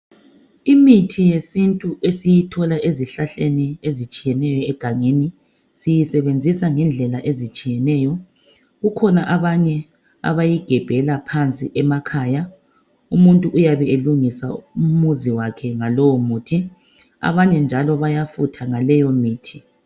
Imithi sesintu esiyithola ezihlahleni egangeni siyisebenzisa ngendlela ezitshiyeneyo kukhona abanye abayigebhela phansi emakhaya umuntu uyabe elungisa umuzi wakhe ngalowo muthi abanye njalo bayafutha ngaleyo mithi